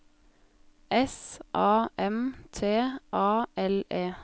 S A M T A L E